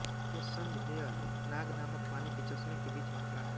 यह सन्ज़ हेअर नाग नामक पानी के चश्मे के बीच में खड़ा है